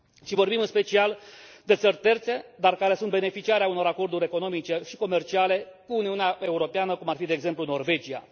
Vorbim în special de țări terțe, dar care sunt beneficiare ale unor acorduri economice și comerciale cu Uniunea Europeană, cum ar fi, de exemplu, Norvegia.